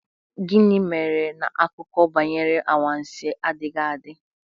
Gịnị mere na akụkọ banyere anwansi adịghị adị?